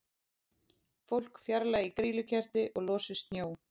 Fólk fjarlægi grýlukerti og losi snjó